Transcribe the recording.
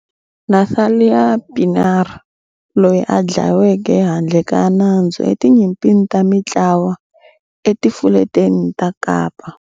Nathalia Pienaar, loyi a dlaweke handle ka nandzu etinyimpini ta mitlawa eTifuleteni ta Kapa.